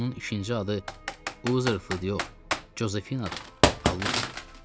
Axı onun ikinci adı Uzerfield yox, Cozefinadır, Allah haqqı.